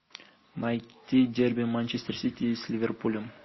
найти дерби манчестер сити с ливерпулем